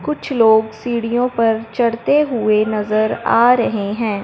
कुछ लोग सीढ़ियों पर चढ़ते हुए नजर आ रहे हैं।